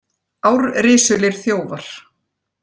Árrisulir þjófar